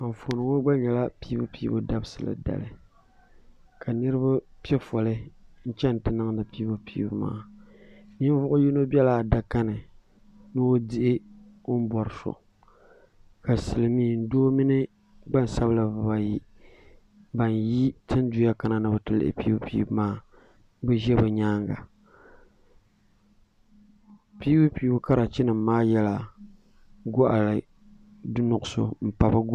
Anfooni gba nyɛla piibupiibu dabisili dali ka niriba pɛ fole n chɛni ti niŋdi piibupiibu maa ninvuɣi yino bɛla adaka ni ni o dihi o ni bori so ka silimiin doo mini gbaŋ sabila biba ayi bini yi tiŋ duya ka ni biti lihi piibupiibu maa ni zɛ bi yɛanga piibupiibu karachi nima maa yela gɔɣi nuɣiso n pa .